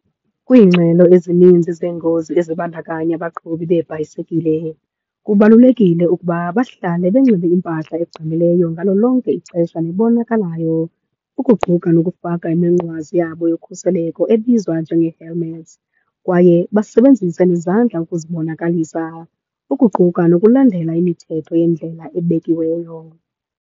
Kwiingxelo ezininzi zeengozi ezibandakanya abaqhubi beebhayisekile kubalulekile ukuba bahlale benxibe impahla egqamileyo ngalo lonke ixesha nebonakalayo, ukuquka nokufaka iminqwazi yabo yokhuseleko ebizwa njenge-helmet. Kwaye basebenzise nezandla ukuzibonakalisa, ukuquka nokulandela imithetho yendlela ebekiweyo.